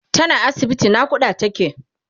tana asibiti naƙuda take